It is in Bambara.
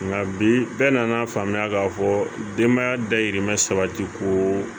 Nka bi bɛɛ nan'a faamuya k'a fɔ denbaya dayirimɛ sabatiko